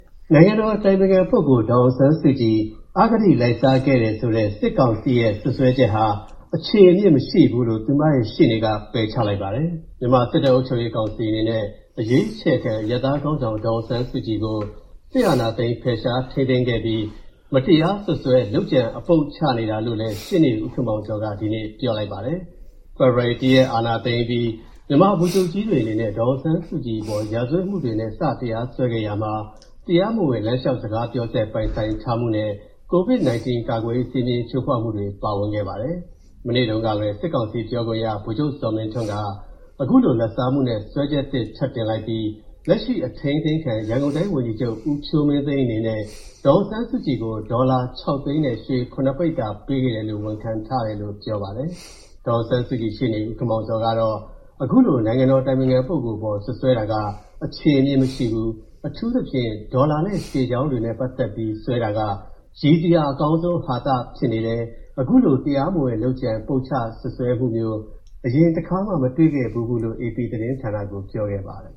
နိုင်ငံတော်အတိုင်ပင်ခံပုဂ္ဂိုလ် ဒေါ်အောင်ဆန်းစုကြည် အဂတိလိုက်စားခဲ့တယ်ဆိုတဲ့ စစ်ကောင်စီရဲ့စွပ်စွဲချက်ဟာ အခြေအမြစ်မရှိဘူးလို့ သူ့ရဲ့ရှေ့နေက ပယ်ချလိုက်ပါတယ်။ မြန်မာစစ်တပ်အုပ်ချုပ်ရေးကောင်စီအနေနဲ့ အရွေးချယ်ခံအရပ်သားခေါင်းဆောင် ဒေါ်အောင်ဆန်းစုကြည်ကို စစ်အာဏာသိမ်းဖယ်ရှားထိန်းသိမ်းခဲ့ပြီး မတရားစွပ်စွဲ လုပ်ကြံအပုပ်ချနေတာလို့လည်း ရှေ့နေ ဦခင်မောင်ဇော်က ဒီနေ့ ပြောပါတယ်။ ဖေဖော်ဝါရီ ၁ ရက် အာဏာသိမ်းအပြီး ဗိုလ်ချုပ်ကြီးတွေအနေနဲ့ ဒေါ်အောင်ဆန်းစုကြည်အပေါ် ရာဇဝတ်မူတွေနဲ့ စတရားစွဲခဲ့တာမှာ တရားမဝင် လမ်းလျှောက်စကားပြောစက် ပိုင်ဆိုင်ထားမူနဲ့ ကိုဗစ်-19 ကာကွယ်ရေးစည်းမျဉ်း ချိုးဖောက်မူတွေပါဝင်ခဲ့ပါတယ်။ မနေ့တုံးကပဲ စစ်ကောင်စီပြောခွင့်ရ ဗိုလ်မှူးချုပ်ဇော်မင်းထွန်းက အခုလို လာဘ်စားမူနဲ့ စုံစမ်းစစ်ဆေးနေတဲ့အကြောင်း ပြောခဲ့ပြီး လက်ရှိအထိန်းသိမ်းခံ ရန်ကုန်တိုင်းဝန်ကြီးချုပ် ဦးဖြိုးမင်းသိန်းက ဒေါ်အောင်ဆန်းစုကြည်ကို အမေရိကန်ဒေါ်လာ ၆ သိန်းနဲ့ ရွှေ ၇ ပိဿာ ပေးခဲ့တာကို ဝန်ခံထားတယ်လို့ ဆိုပါတယ်။ ဒေါ်အောင်ဆန်းစုကြည်ရဲ့ရှေ့နေ ဦးခင်မောင်ဇော်ကတော့ အခုလို နိုင်ငံတော်အတိုင်ပင်ခံပုဂ္ဂိုလ်အပေါ် စွပ်စွဲတာက အခြေအမြစ်မရှိဘူး၊ အထူးသဖြင့် ဒေါ်လာနဲ့ရွှေချောင်းတွေနဲ့ပတ်သက်ပြီးစွဲတာက၊ ရီစရာအကောင်းဆုံးဟာသဖြစ်နေတယ်၊ အခုလို တရားမဝင်လုပ်ကြံပုပ်ချစွတ်စွဲတာမျိုး အရင်တခါမှမတွေ့ခဲ့ဘူးဖူးလို့ AP သတင်းဌာနကို ပြောခဲ့ပါတယ်